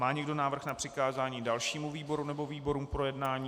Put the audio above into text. Má někdo návrh na přikázání dalšímu výboru nebo výborům k projednání?